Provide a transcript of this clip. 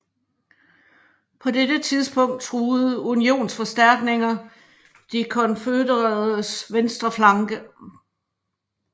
På dette tidspunkt truede unionsforstærkninger de konfødereredes venstre flanke